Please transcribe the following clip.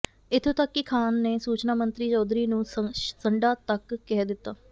ਇਥੋਂ ਤੱਕ ਕਿ ਖਾਨ ਨੇ ਸੂਚਨਾ ਮੰਤਰੀ ਚੌਧਰੀ ਨੂੰ ਸੰਡਾ ਤੱਕ ਕਹਿ ਦਿੱਤਾ